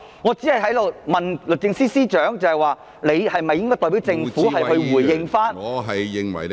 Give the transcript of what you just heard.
我只是問律政司司長，是否應代表政府回應。